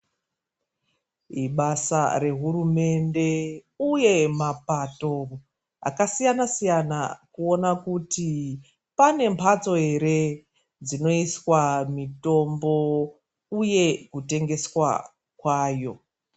Ibasa rehurumende uye mapato akasiyana -siyana kuona kuti pane mhatso ere dzinoiswa mitombo uye kutengeswa kwayo.